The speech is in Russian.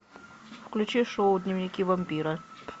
включи шоу дневники вампира